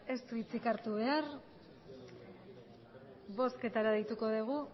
ez du hitzik hartu behar bozketara deituko dugu